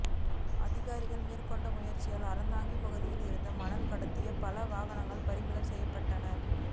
அதிகாரிகள் மேற்கொண்ட முயற்சியால் அறந்தாங்கி பகுதியில் இருந்து மணல் கடத்திய பல வாகனங்கள் பறிமுதல் செய்யப்பட்டன